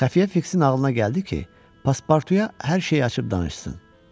Xəfiyə Fiksin ağlına gəldi ki, Paspartuya hər şeyi açıb danışsın.